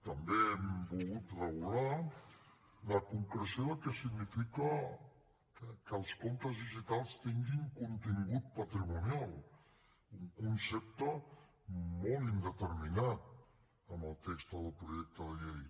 també hem volgut regular la concreció del que significa que els comptes digitals tinguin contingut patrimonial un concepte molt indeterminat en el text del projecte de llei